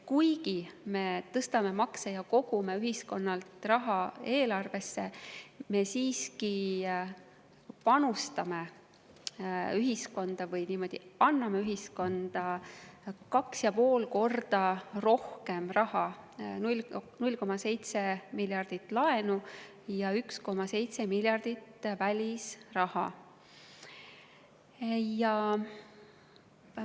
Kuigi me tõstame makse ja kogume ühiskonnalt raha eelarvesse, me siiski panustame või anname ühiskonda 2,5 korda rohkem raha ehk 0,7 miljardit eurot laenu ja 1,7 miljardit eurot välisraha.